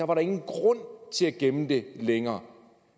var der ingen grund til at gemme det længere